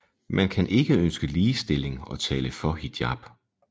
Man kan ikke ønske ligestilling og tale for hijab